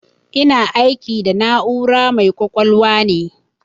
Ina aiki da na'ura mai ƙwaƙwalwa ne.